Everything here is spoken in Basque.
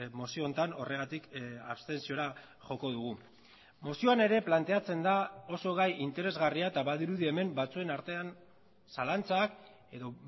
mozio honetan horregatik abstentziora joko dugu mozioan ere planteatzen da oso gai interesgarria eta badirudi hemen batzuen artean zalantzak edo